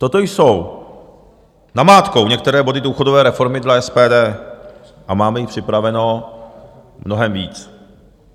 Toto jsou namátkou některé body důchodové reformy dle SPD a máme jich připraveno mnohem víc.